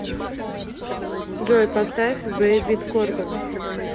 джой поставь бэйбит корган